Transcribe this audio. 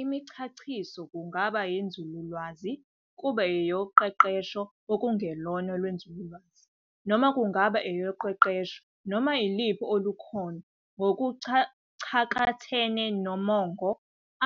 Imichachiso kungaba eyenzululwazi, kube eyoqeqesho okungelona olwenzululwazi, noma kungaba eyoqeqesho noma iluphi olukhona. Ngokucakathene nomongo,